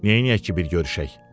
Neyləyək ki bir görüşək?